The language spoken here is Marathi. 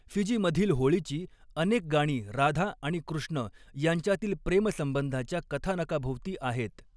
फिजीमधील होळीची अनेक गाणी राधा आणि कृष्ण यांच्यातील प्रेम संबंधाच्या कथानकाभोवती आहेत.